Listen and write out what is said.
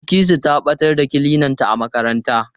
Bilkisu ta ɓatar da kilinanta a makaranta.